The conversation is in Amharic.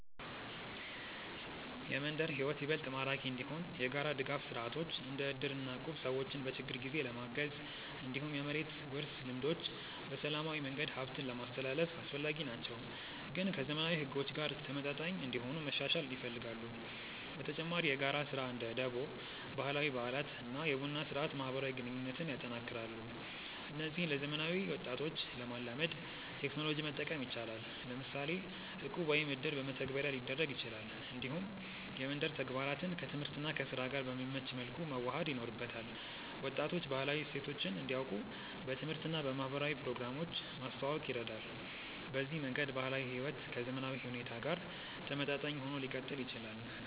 የመንደር ሕይወት ይበልጥ ማራኪ እንዲሆን የጋራ ድጋፍ ስርዓቶች እንደ እድር እና እቁብ ሰዎችን በችግር ጊዜ ለማገዝ፣ እንዲሁም የመሬት ውርስ ልምዶች በሰላማዊ መንገድ ሀብትን ለማስትላልፍ አስፈላጊ ናቸው፣ ግን ከዘመናዊ ሕጎች ጋር ተመጣጣኝ እንዲሆኑ መሻሻል ይፈልጋሉ። በተጨማሪ የጋራ ስራ (እንደ ደቦ)፣ ባህላዊ በዓላት እና የቡና ስርአት ማህበራዊ ግንኙነትን ያጠናክራሉ። እነዚህን ለዘመናዊ ወጣቶች ለማላመድ ቴክኖሎጂ መጠቀም ይቻላል፤ ለምሳሌ እቁብ ወይም እድር በመተግበሪያ ሊደረግ ይችላል። እንዲሁም የመንደር ተግባራትን ከትምህርት እና ከስራ ጋር በሚመች መልኩ መዋሃድ ይኖርበታል። ወጣቶች ባህላዊ እሴቶችን እንዲያውቁ በትምህርት እና በማህበራዊ ፕሮግራሞች ማስተዋወቅ ይረዳል። በዚህ መንገድ ባህላዊ ሕይወት ከዘመናዊ ሁኔታ ጋር ተመጣጣኝ ሆኖ ሊቀጥል ይችላል።